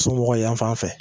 Somɔgɔ yanfan fɛ